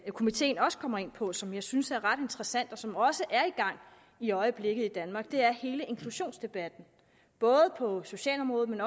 komiteen også kommer ind på som jeg synes er ret interessant og som også er i gang i øjeblikket i danmark er hele inklusionsdebatten både på socialområdet